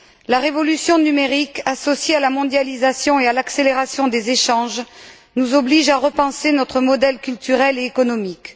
La révolution numérique, associée à la mondialisation et à l'accélération des échanges, nous oblige à repenser notre modèle culturel et économique.